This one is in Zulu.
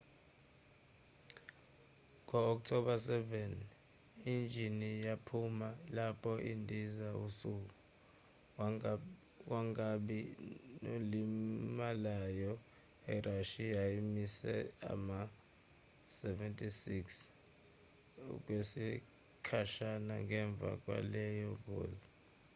ngo-october 7 injini yaphuma lapho indiza isuka kwangabi nolimalayo. irashiya imise ama-ll-76 okwesikhashana ngemva kwaleyo ngozi